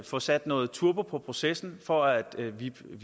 få sat noget turbo på processen for at